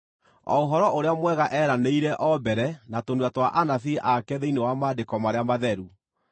o Ũhoro-ũrĩa-Mwega eeranĩire o mbere na tũnua twa anabii ake thĩinĩ wa Maandĩko marĩa Matheru,